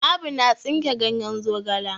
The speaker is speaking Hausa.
Abu na tsinke ganyen zogala.